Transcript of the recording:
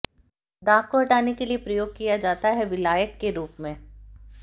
दाग को हटाने के लिए प्रयोग किया जाता है विलायक के रूप में